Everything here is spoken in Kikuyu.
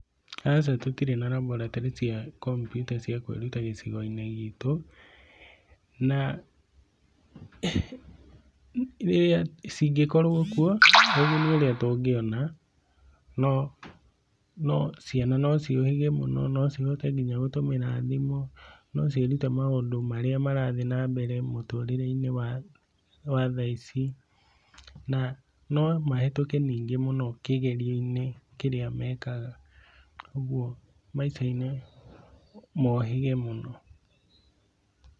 Aca tũtire na raboratorĩ cia Kompiuta cia kwĩruta gĩcigo-inĩ gitũ, na rĩrĩa, cingĩkorwo kuo, ũguni ũrĩa tũngĩona, no no ciana no ciũhĩge mũno, no cihote nginya gũtũmĩra thimũ, no ciĩrute maũndũ marĩa marathiĩ na mbere mũtũrĩre-inĩ wa tha ici, na no mahĩtũke ningĩ mũno kĩgerio-inĩ kĩrĩa mekaga, ũguo maica-inĩ mohĩge mũno.